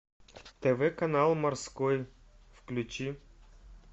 тв канал морской включи